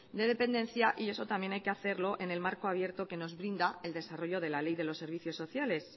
de dependencia y eso también hay que hacerlo en el marco abierto que nos brinda el desarrollo de la ley de los servicios sociales